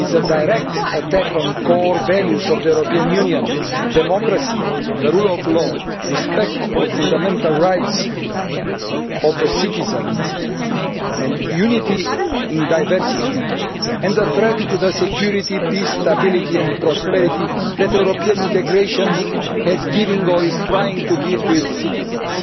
It is a direct attack on the core values of the European Union democracy, the rule of law, respect for fundamental rights of the citizen and unity in diversity and a threat to the security, peace, stability and prosperity that European integration has given or is trying to give its citizens.